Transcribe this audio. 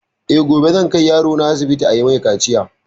Eh gobe zan kai yarona asibiti ayi mai kaciya